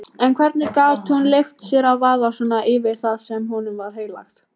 En hvernig gat hún leyft sér að vaða svona yfir það sem honum var heilagt?